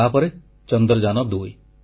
ଆଉ ତାପରେ ଚନ୍ଦ୍ରଯାନ2